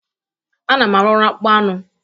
Ana m arụ ọrụ akpụkpọ anụ